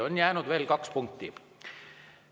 On jäänud veel kaks punkti.